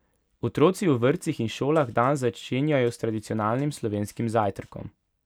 Otroci v vrtcih in šolah dan začenjajo s tradicionalnim slovenskim zajtrkom.